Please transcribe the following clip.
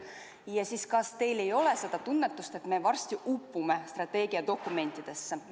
Ja kas teil ei ole seda tunnetust, et me varsti upume strateegiadokumentidesse?